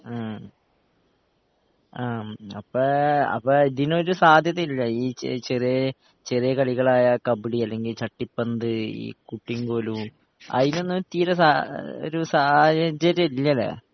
ഉം ആ അപ്പെ അപ്പെ ഇതിന് ഒരു സാധ്യതയില്ല ഈ ചെ ചെറിയേ ചെറിയ കളികളായ കബഡി അല്ലെങ്കി ചട്ടിപ്പന്ത് ഈ കുട്ടീം കോലും അയിനൊന്നും തീരെ സാ ഒരു സാഹചര്യല്ലലെ